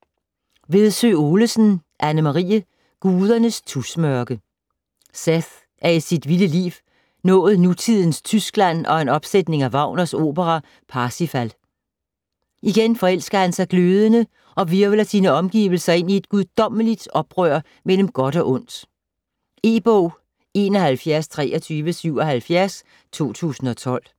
Vedsø Olesen, Anne-Marie: Gudernes tusmørke Seth er i sit vilde liv nået nutidens Tyskland og en opsætning af Wagners opera Parsifal. Igen forelsker han sig glødende, og hvirvler sine omgivelser ind i et guddommeligt oprør mellem godt og ondt. E-bog 712377 2012.